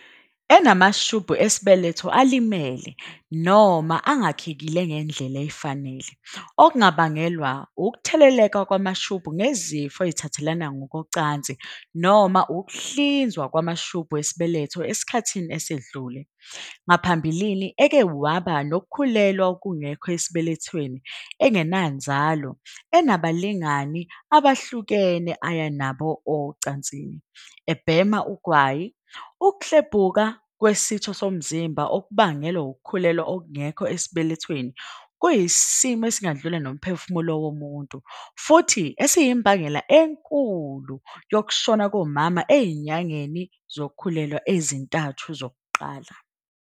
.enamashubhu esibe-letho alimele noma angakhekile ngendlela efanele, okungabangelwa wukutheleleka kwamashubhu ngezifo ezithathelwana ngokocansi noma ukuhlinzwa kwamashubhu esibeletho esikhathini esedlule, ngaphambilini eke waba nokukhulelwa okungekho esibelethweni, engenanzalo, enabalingani abehlukene aya nabo ocansini, ebhema ugwayi."Ukuklebhuka kwesitho somzimba okubangelwa wukukhulelwa okungekho esibelethweni kuyisimo esingadlula nomphefumulo womuntu futhi esiyimbangela enkulu yokushona komama ezinyangeni zokukhulelwa ezintathu zokuqala."